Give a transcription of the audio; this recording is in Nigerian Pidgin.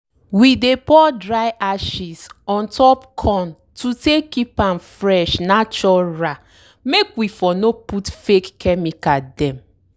we dey pour dry ashes ontop corn to take keep am fresh natural make we for no put fake chemical dem.